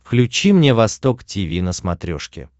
включи мне восток тиви на смотрешке